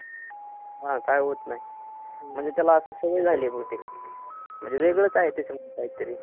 हा, काही होत नाही. म्हणजे त्याला आता सवय झाली आहे बहुतेक. म्हणजे वेगळं काय आहे त्याच्यात काहीतरी?